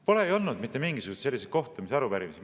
Pole olnud mitte mingisugust sellist kohtumist ja arupärimist.